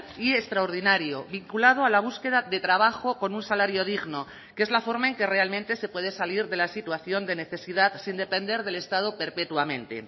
y extraordinario vinculado a la búsqueda de trabajo con un salario digno que es la forma en que realmente se puede salir de la situación de necesidad sin depender del estado perpetuamente